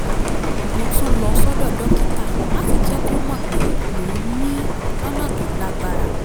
mo tún lọ sọ́dọ̀ dókítà láti jẹ́ kó mọ̀ pé mò ń mií lọ́nà tó lágbára